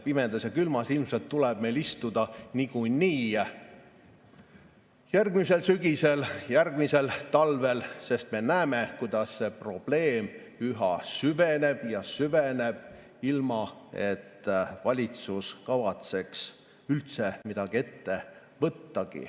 Pimedas ja külmas ilmselt tuleb meil istuda niikuinii järgmisel sügisel ja järgmisel talvel, sest me näeme, kuidas see probleem üha süveneb ja süveneb, ilma et valitsus kavatseks üldse midagi ette võtta.